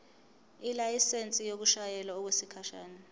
ilayisensi yokushayela okwesikhashana